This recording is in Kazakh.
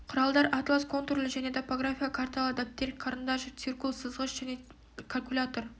құралдар атлас контурлы және топографиялық карталар дәптер қарындаш циркуль сызғыш және калькулятор